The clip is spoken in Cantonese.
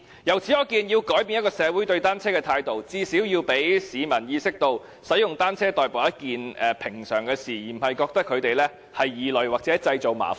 由此可見，要改變一個社會對單車的態度，最少要讓市民意識到，使用單車代步是一件平常的事，而不是覺得單車使用者是異類或製造麻煩。